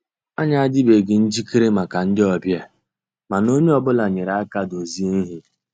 Ànyị́ àdị́beghị́ njìkéré màkà ndị́ ọ̀bịá, mànà ónyé ọ́ bụ́là nyéré àká dòzié íhé.